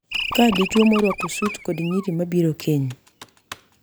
Ka dichwo morwako sut kod nyiri mabiro keny